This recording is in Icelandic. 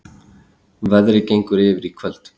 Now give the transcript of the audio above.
Veðrið gengur yfir í kvöld